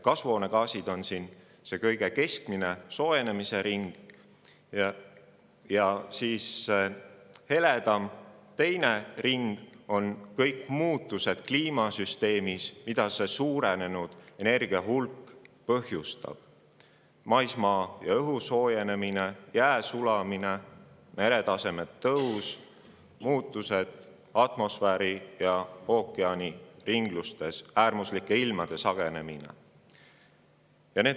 Kasvuhoonegaasid on siin kõige sisemisel, soojenemise ringil ja teises, heledamas ringis on kõik muutused kliimasüsteemis, mida see suurenenud energiahulk põhjustab: maismaa ja õhu soojenemist, jää sulamist, meretaseme tõusu, muutusi atmosfääri ja ookeani ringlustes ning äärmuslike ilmade sagenemist.